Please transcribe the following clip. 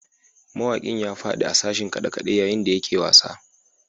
Mawakin ya fadi a sashin kade-kade yayin da yake wasa